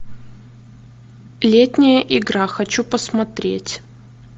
летняя игра хочу посмотреть